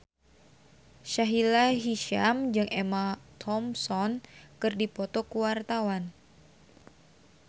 Sahila Hisyam jeung Emma Thompson keur dipoto ku wartawan